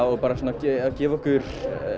og gefa okkur